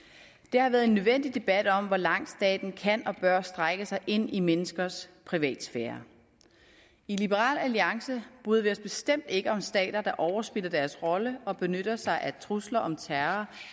det har været en nødvendig debat om hvor langt staten kan og bør strække sig ind i menneskers privatsfære i liberal alliance bryder vi os bestemt ikke om stater der overspiller deres rolle og benytter sig af trusler om terror